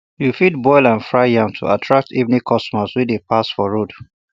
you fit boil and fry yam to attract evening customers wey dey pass for road